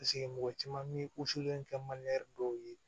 mɔgɔ caman mi kɛ dɔw ye